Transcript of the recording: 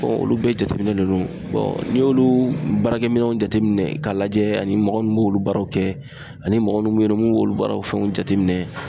olu bɛɛ jateminɛ de don n'i y'olu baarakɛminɛw jateminɛ ka lajɛ ani mɔgɔ munnu b'olu baaraw kɛ ani mɔgɔ munnu b'olu baaraw fɛnw jateminɛ.